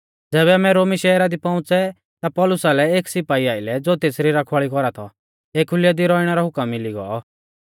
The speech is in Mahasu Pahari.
ज़ैबै आमै रोमी शहरा दी पौउंच़ै ता पौलुसा लै एक सिपाई आइलै ज़ो तेसरी रखवाल़ी कौरा थौ एखुलै दी रौइणै रौ हुकम मिली गौ